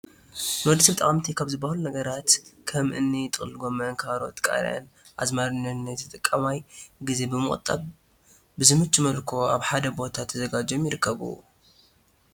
ንወድሰብ ጠቐምቲ ካብ ዝበሃሉ ነገራት ከም እኒ ጥቕልል ጎመን÷ ካሮት÷ቃርያን ኣዝማሪኖን ናይ ንተጠቃማይ ግዜ ብዝቑጥብ ብዝምቹ መልክዑ ኣብ ሓደ ቦታ ተዘጋጅዮም ይርከቡ።